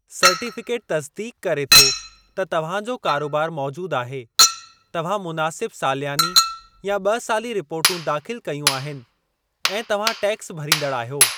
Certificate तसिदीक़ करे थो त तव्हां जो कारोबार मौजूदु आहे, तव्हां मुनासिब सालियानी या ॿ साली रिपोर्टूं दाख़िलु कयूं आहिनि, ऐं तव्हां टैक्स भरींदड़ आहियो।